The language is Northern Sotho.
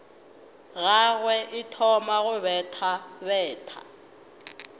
gagwe e thoma go bethabetha